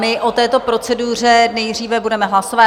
My o této proceduře nejdříve budeme hlasovat.